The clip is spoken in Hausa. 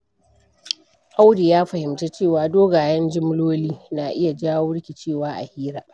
Audu ya fahimci cewa dogayen jumloli na iya jawo rikicewa a hira.